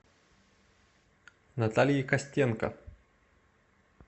наталье костенко